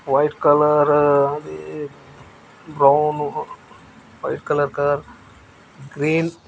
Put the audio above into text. white colour అది brown white colour car green --